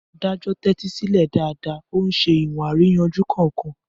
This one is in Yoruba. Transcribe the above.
Adájọ́ tẹ́tí sílẹ̀ dáadáa, ó ń ṣe ìwọ̀n àríyànjiyàn kọ̀ọ̀kan.